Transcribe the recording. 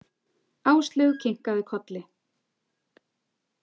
Áslaug kinkaði kolli.